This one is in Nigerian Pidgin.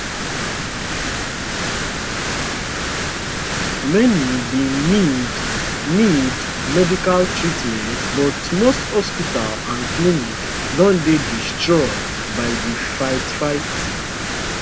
many bin need need medical treatment but most hospitals and clinics don dey destroyed by di fightfight